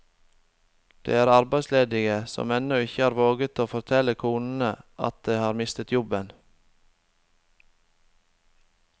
Det er arbeidsledige som ennå ikke har våget å fortelle konene sine at de har mistet jobben.